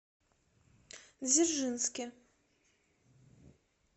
дзержинске